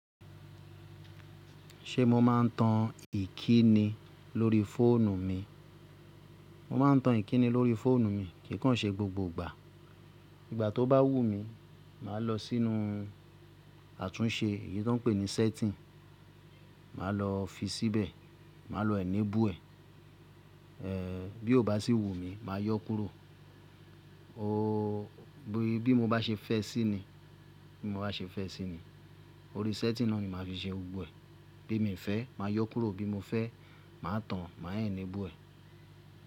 Ṣé mo máa ń tan ìkíni lórí fóònù mi? Mo máa ń tan ìkíni lórí fóònù mi, kì i kan ṣe gbogbo ìgbà. Ìgbà tó bá wù mí, màá lọ sínú àtúnṣe, èyí tó ń pè ní setting, màá lọ fi síbẹ̀, màá lọ enable ẹ̀. Eh bí ó bá sì wù mí, màá yọ́ kúrò. O bí mo bá ṣe fẹ́ síni, bí mo bá ṣe fẹ́ síni, orí setting náà ni màá ti ṣe gbogbo ẹ̀. Bí mi fẹ́, màá yọ́ kúrò, bí mo fẹ́, màá tan, màá enable ẹ̀.